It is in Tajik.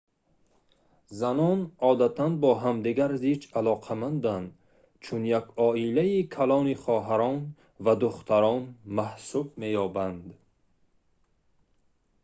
занон одатан бо ҳамдигар зич алоқаманданд чун як оилаи калони хоҳарон ва духтарон маҳсуб меёбанд